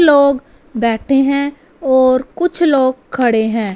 लोग बैठे हैं और कुछ लोग खड़े हैं।